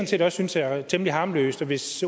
set også synes er temmelig harmløst og hvis